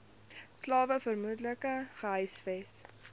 slawe vermoedelik gehuisves